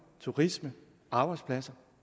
turisme arbejdspladser